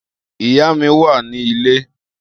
Iya mi wa ni ile.